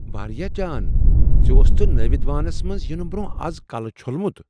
واریاہ جان! ژےٚ اوستھٕ نٲود وانس منٛز ینہٕ برٛۄنٛہہ از کلہٕ چھوٚلمت؟